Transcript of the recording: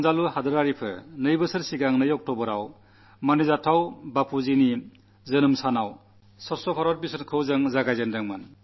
എന്റെ പ്രിയപ്പെട്ട ദേശവാസികളേ രണ്ടു വർഷം മുമ്പ് ഓക്ടോബർ രണ്ടിന് പൂജനീയ ബാപ്പുവിന്റെ ജന്മജയന്തിക്ക്നാം ശുചിത്വ ഭാരത യജ്ഞം ആരംഭിച്ചു